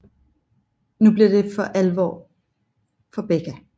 Nu bliver det alvor for Becca